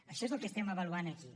això és el que estem avaluant aquí